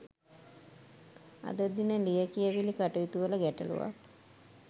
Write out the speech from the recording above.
අද දින ලියකියවිලි කටයුතුවල ගැටලුවක්